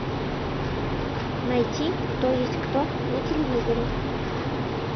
найти кто есть кто на телевизоре